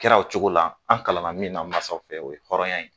Kɛra o cogo la . An kalanna min na masaw fɛ o ye hɔrɔnya ye.